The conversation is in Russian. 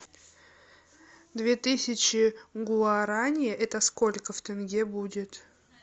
две тысячи гуарани это сколько в тенге будет